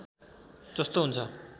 जस्तो हुन्छ